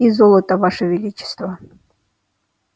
и золото ваше величество